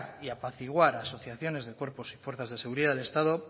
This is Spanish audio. y apaciguar a asociaciones de cuerpos y fuerzas de seguridad del estado